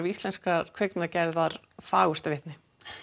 íslenskrar kvikmyndagerðar fagurt vitni